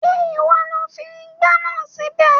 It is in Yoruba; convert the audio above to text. Ṣé ìwọ lo fi ìgbá náà síbẹ̀?